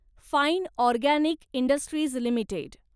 fine Organic Industries limited